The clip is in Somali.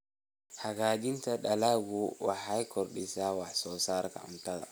Hagaajinta dalaggu waxay caawisaa kordhinta wax soo saarka cuntada.